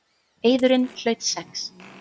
Eiðurinn hlaut sex.